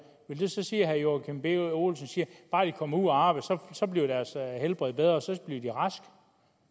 vil det sige at herre joachim b olsen siger at bare de kommer ud at arbejde så bliver deres helbred bedre så bliver de raske